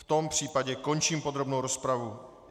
V tom případě končím podrobnou rozpravu.